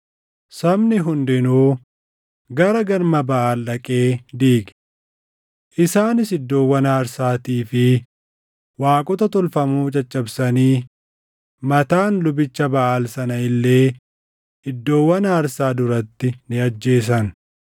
Sabni hundinuu gara galma Baʼaal dhaqee diige. Isaanis iddoowwan aarsaatii fi waaqota tolfamoo caccabsanii Mataan lubicha Baʼaal sana illee iddoowwan aarsaa duratti ni ajjeesan.